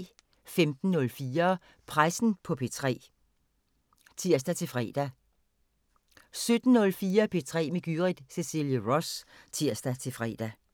15:04: Pressen på P3 (tir-fre) 17:04: P3 med Gyrith Cecilie Ross (tir-fre)